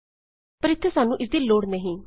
ਪਰ ਇੱਥੇ ਸਾਨੂੰ ਇਸਦੀ ਕੋਈ ਲੋੜ ਨਹੀਂ